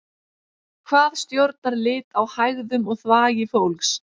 hvað stjórnar lit á hægðum og þvagi fólks